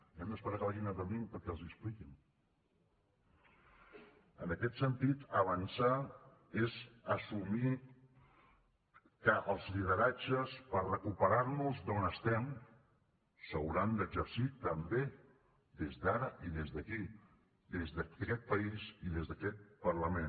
hem d’esperar que vagin a berlín perquè els ho expliquin en aquest sentit avançar és assumir que els lideratges per a recuperar nos d’on estem s’hauran d’exercir també des d’ara i des d’aquí des d’aquest país i des d’aquest parlament